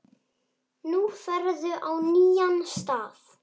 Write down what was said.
Nú ferðu á nýjan stað.